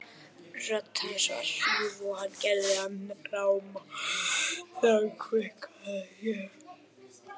Rödd hans var hrjúf og hann gerði hana ráma þegar hann kveinkaði sér.